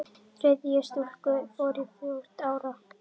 Þriðja stúlkan er fjórtán ára.